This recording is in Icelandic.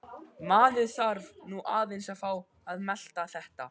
Maður þarf nú aðeins að fá að melta þetta.